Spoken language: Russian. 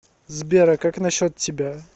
сбер а как насчет тебя